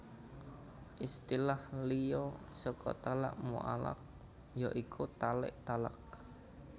Istilah liya saka talak muallaq ya iku talik talak